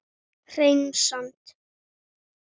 Hreina satt.